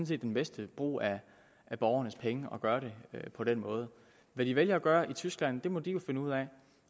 set den bedste brug af borgernes penge at gøre det på den måde hvad de vælger at gøre i tyskland må de jo finde ud af